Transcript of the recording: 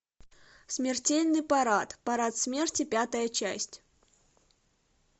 смертельный парад парад смерти пятая часть